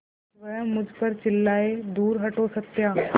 वह मुझ पर चिल्लाए दूर हटो सत्या